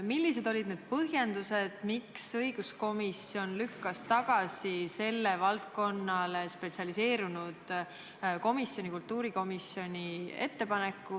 Millistel põhjendustel lükkas õiguskomisjon tagasi sellele valdkonnale spetsialiseerunud komisjoni, kultuurikomisjoni ettepaneku?